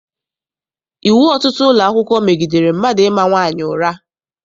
Iwu ọtụtụ ụlọakwụkwọ megidere mmadụ ịma nwaanyị ụra.